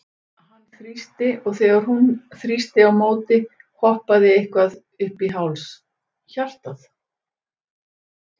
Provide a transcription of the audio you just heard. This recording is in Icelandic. Hann þrýsti, og þegar hún þrýsti á móti, hoppaði eitthvað upp í háls hjartað?